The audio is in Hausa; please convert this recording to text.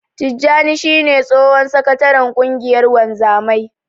Tijjani shi ne tsohon sakataren ƙungiyar wanzamai.